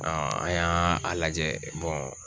an y'a a lajɛ